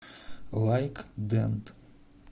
лайк дент